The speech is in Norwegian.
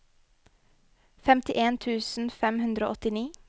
femtien tusen fem hundre og åttini